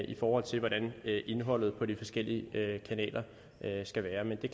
i forhold til hvordan indholdet på de forskellige kanaler skal være men det